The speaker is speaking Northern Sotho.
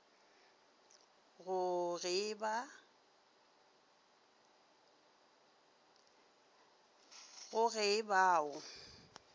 go ge e ba o